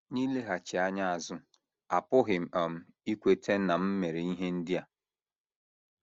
N’ileghachi anya azụ, apụghị m um ikweta na m mere ihe ndị a. ”